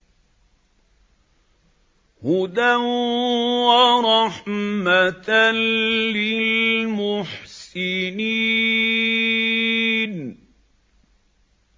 هُدًى وَرَحْمَةً لِّلْمُحْسِنِينَ